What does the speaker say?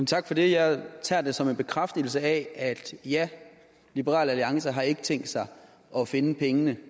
tak for det jeg tager det som en bekræftelse af at ja liberal alliance har ikke tænkt sig at finde pengene